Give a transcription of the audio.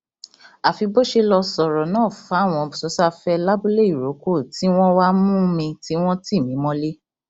àfi bó ṣe lọọ sọrọ náà fáwọn sosafe labúléìrókò tí wọn wàá mú mi tí wọn tì mí mọlẹ